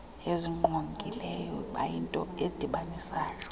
ezingqongileyo bayinto edibanisayo